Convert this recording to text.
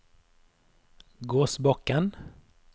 Gåsbakken